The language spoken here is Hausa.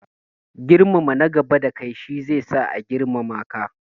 Girmama nagaba da kai shi zai sa a girmama ka.